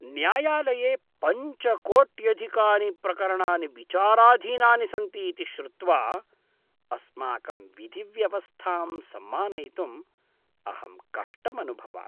न्यायालये पञ्च कोट्यधिकानि प्रकरणानि विचाराधीनानि सन्ति इति श्रुत्वा अस्माकं विधिव्यवस्थां सम्मानयितुम् अहं कष्टमनुभवामि।